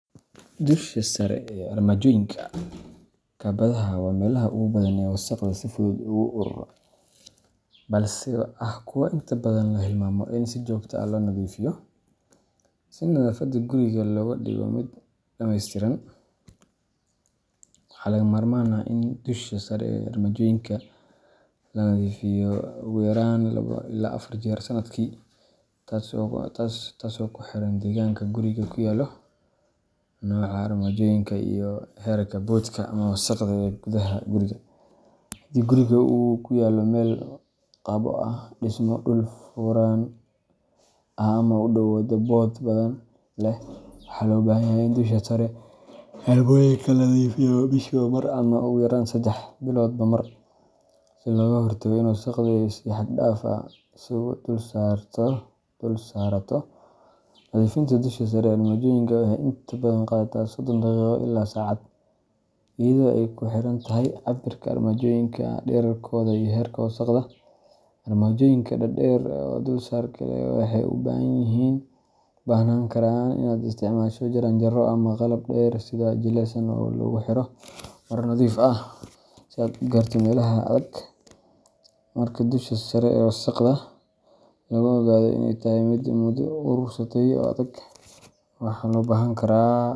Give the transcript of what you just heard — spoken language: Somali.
Dusha sare ee armaajooyinka kabadhada waa meelaha ugu badan ee wasakhda si fudud ugu uruura, balse ah kuwo inta badan la hilmaamo in si joogto ah loo nadiifiyo. Si nadaafadda guriga looga dhigo mid dhammaystiran, waxaa lagama maarmaan ah in dusha sare ee armaajooyinka la nadiifiyo ugu yaraan labo ilaa afar jeer sanadkii, taasoo ku xiran deegaanka gurigu ku yaallo, nooca armaajooyinka, iyo heerka boodhka ama wasakhda ee gudaha guriga. Haddii guriga uu ku yaallo meel qabo ah, dhismo dhul furan ah ama u dhow waddo boodh badan leh, waxaa loo baahanyahay in dusha sare ee armaajooyinka la nadiifiyo bishiiba mar ama ugu yaraan sedex biloodba mar, si looga hortago in wasakhdu ay si xad-dhaaf ah isu dulsaarato. Nadiifinta dusha sare ee armaajooyinka waxay inta badan qaadataa sodon daqiiqo ilaa saacad, iyadoo ay ku xirantahay cabbirka armaajooyinka, dhererkooda, iyo heerka wasakhda. Armaajooyinka dhaadheer oo dulsaar adag leh waxay u baahan karaan inaad isticmaasho jaranjaro ama qalab dheer sida ul jilicsan oo lagu xiro maro nadiif ah si aad u gaarto meelaha adag. Marka dusha sare wasakhda lagu ogaado inay tahay mid muddo urursatay oo adag, waxaa loo baahan karaa .